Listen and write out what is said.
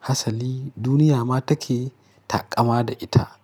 Hasali duniya ma take taƙama da ita.